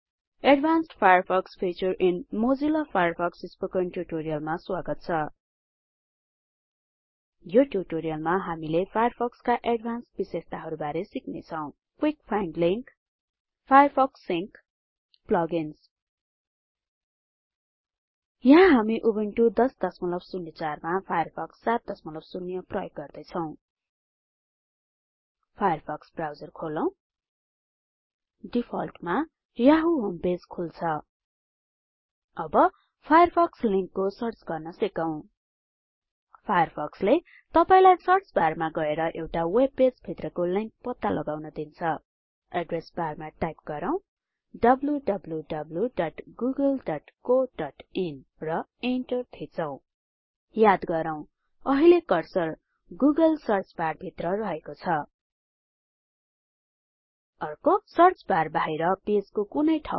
advanced Firefox feature in Mozilla Firefox spoken ट्युटोरियलमा स्वागत छ यो ट्युटोरियलमा हामीले फायरफक्सका एडभान्सड विशेषताहरु बारे सिक्ने छौ Quick find link Firefox sync Plug ins यहाँ हामी उबुन्टु १००४ मा फायरफक्स ७० प्रयोग गर्दै छौ फायरफक्स ब्राउजर खोलौ डिफल्टमा यहू होम पेज खुल्छ अब फायरफक्स लिंकको सर्च गर्न सिकौं फायरफक्सले तपाईलाई सर्च बारमा गएर एउटा वेबपेज भित्रको लिंक पत्ता लगाउन दिन्छ एड्रेस बारमा टाइप गरौँ डब्ल्यूडब्ल्यूडब्ल्यूडब्ल्यूडब्यूडब्ल्यूडब्यूडब्यूडब्यूडब्यूडब्यूडब्यूडब्यूडब्ल्ल्यूडब्यूडब्ल्यूडब्यूडब्यूडब्ल्ल्यूडब्ल्यूडब्ल्यूडब्यूडब्यूडब्ल्ल्यूडब्यूडब्यूडब्यूडब्यूडब्यूडब्यूडब्यूडब्यूडब्यूडब्यूडब